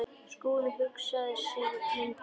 Skúli hugsaði sig lengi um.